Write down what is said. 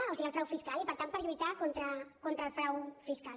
o sigui al frau fiscal i per tant per lluitar contra el frau fiscal